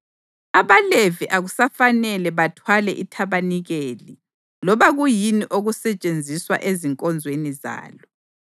abaLevi akusafanele bathwale ithabanikeli loba kuyini okusetshenziswa ezinkonzweni zalo.”